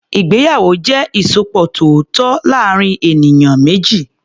Ìgbéyàwó jẹ́ ìsopọ̀ tó tọ́ láàárín ènìyàn méjì.